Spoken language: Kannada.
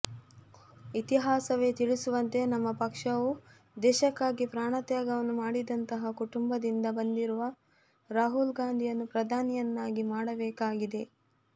ಇತಿಹಾಸವೇ ತಿಳಿಸುವಂತೆ ನಮ್ಮ ಪಕ್ಷವು ದೇಶಕ್ಕಾಗಿ ಪ್ರಾಣತ್ಯಾಗವನ್ನು ಮಾಡಿದಂತಹ ಕುಟುಂಬದಿಂದ ಬಂದಿರುವ ರಾಹುಲ್ ಗಾಂಧಿಯನ್ನು ಪ್ರಧಾನಿಯನ್ನಾಗಿ ಮಾಡಬೇಕಾಗಿದೆ